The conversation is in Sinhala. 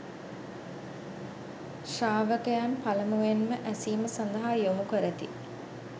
ශ්‍රාවකයන් පළමුවෙන්ම ඇසීම සඳහා යොමු කරති.